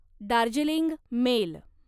Darjeeling mail